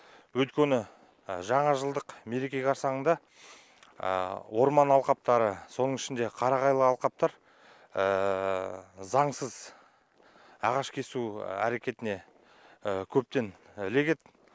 өйткені жаңажылдық мереке қарсаңында орман алқаптары соның ішінде қарағайлы алқаптар заңсыз ағаш кесу әрекетіне көптен ілігеді